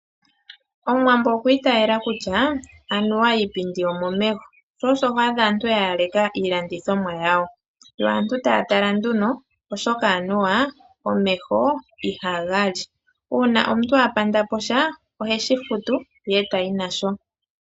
Omuwambo okwi itaala kutya anuwa iipindi omomeho sho osho ho adha aantu ya yala iilandithomwa yawo yo aantu taya tala nduno oshoka anuwa omeho ihaga li. Uuna omuntu apandapo sha, oheshi futu e tayi nasho.